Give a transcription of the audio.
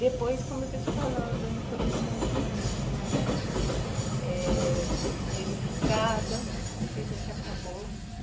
Depois, como eu estou te falando, ele foi ficando com a mente mais eh...danificada, porque a gente acabou.